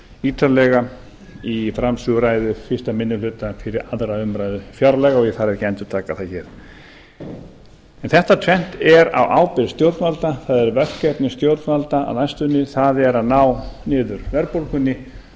ítarlega í framsöguræðu fyrsti minni hluta fyrir aðra umræðu fjárlaga og ég þarf ekki að endurtaka það hér en þetta tvennt er á ábyrgð stjórnvalda það eru verkefni stjórnvalda á næstunni það er að ná niður verðbólgunni